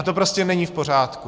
A to prostě není v pořádku.